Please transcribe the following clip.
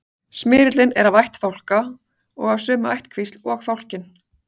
smyrillinn er af ætt fálka og af sömu ættkvísl og fálkinn